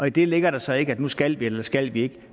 i det ligger der så ikke at nu skal vi eller skal vi ikke